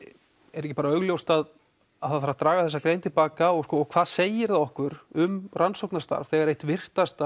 er ekki bara augljóst að að það þarf að draga þessa grein til baka og hvað segir það okkur um rannsóknarstarf þegar eitt virtasta